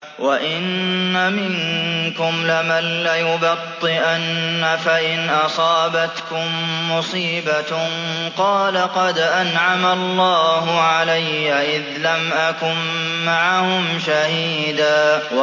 وَإِنَّ مِنكُمْ لَمَن لَّيُبَطِّئَنَّ فَإِنْ أَصَابَتْكُم مُّصِيبَةٌ قَالَ قَدْ أَنْعَمَ اللَّهُ عَلَيَّ إِذْ لَمْ أَكُن مَّعَهُمْ شَهِيدًا